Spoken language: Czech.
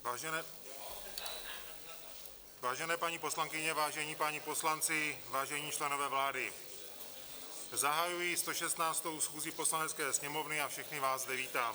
Vážené paní poslankyně, vážení páni poslanci, vážení členové vlády, zahajuji 116. schůzi Poslanecké sněmovny a všechny vás zde vítám.